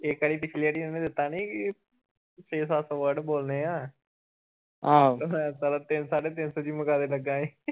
ਇਕ ਵਾਰੀ ਪਿਛਲੀ ਆਰੀ ਓਹਨੇ ਦਿੱਤਾ ਨਹੀਂ ਸੀ ਕੇ ਛੇ ਸੱਤ word ਬੋਲਣੇ ਆ ਮੈ ਸਾਲਾ ਤਿੰਨ ਸਾਢੇ ਤਿੰਨ ਸੌ ਈ ਮੁਕਾਦੇ ਲੱਗਾ ਹੀ